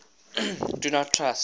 do not trust